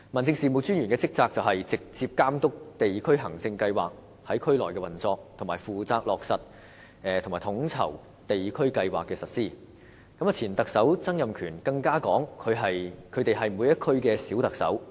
DO 的職責是"直接監督地區行政計劃在區內的運作"和"負責落實及統籌地區計劃的實施"等，而前特首曾蔭權更曾表示他們是每區的"小特首"。